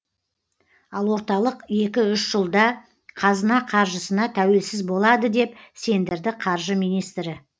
ал орталық екі үш жылда қазына қаржысына тәуелсіз болады деп сендірді қаржы министрі